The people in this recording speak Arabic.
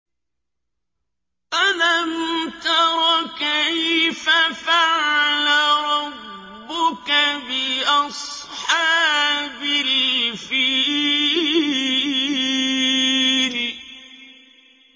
أَلَمْ تَرَ كَيْفَ فَعَلَ رَبُّكَ بِأَصْحَابِ الْفِيلِ